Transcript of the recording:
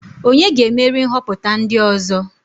Onye ga-emeri nhoputa ndi ozo?